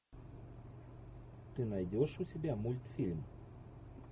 ты найдешь у себя мультфильм